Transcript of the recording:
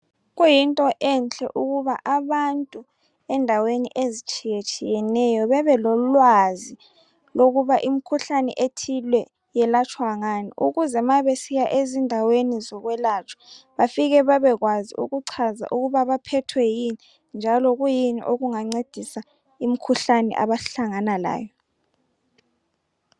kuyinto enhle ukuba abantu endaweni ezitshiyetshiyeneyo bebelolwazi lokuba imkhuhlane ethile yelatshwa ngani ukuze ma besiya ezindaweni zokwelatshwa bafike bebekwazi ikuchaza ukuba baphethwe yini njalo kuyini okungancedisa imkhuhlane abahlangana layo